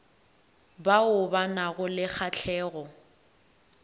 bao ba nago le kgahlego